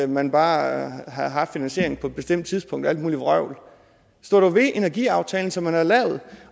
man bare havde haft en finansiering på et bestemt tidspunkt og alt muligt vrøvl stå dog ved energiaftalen som vi har lavet